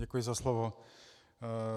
Děkuji za slovo.